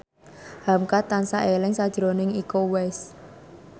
hamka tansah eling sakjroning Iko Uwais